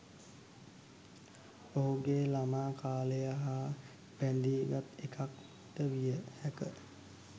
ඔහුගේ ළමා කාලය හා බැඳී ගත් එකක් ද විය හැකිය.